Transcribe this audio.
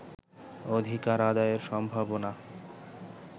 অধিকার আদায়ের সম্ভাবনা